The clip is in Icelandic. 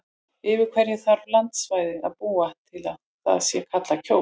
Yfir hverju þarf landsvæði að búa til að það sé kallað Kjós?